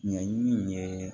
Ɲɛɲini ye